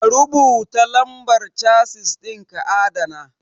Ka rubuta lambar Chasis ɗin ka adana